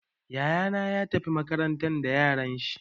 Yaya na ya tafi makaranta da yaran shi.